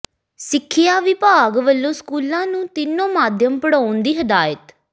ਸਿੱਖਿਆ ਵਿਭਾਗ ਵਲੋਂ ਸਕੂਲਾਂ ਨੂੰ ਤਿੰਨੋਂ ਮਾਧਿਅਮ ਪੜ੍ਹਾਉਣ ਦੀ ਹਦਾਇਤ